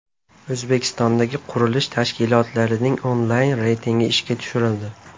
O‘zbekistondagi qurilish tashkilotlarining onlayn reytingi ishga tushirildi.